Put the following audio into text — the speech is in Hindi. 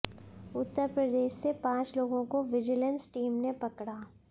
उत्तरप्रदेश से पांच लोगों को विजिलेंस टीम ने पकड़ा